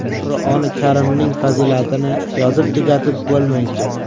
Qur’oni karimning fazilatini yozib tugatib bo‘lmaydi.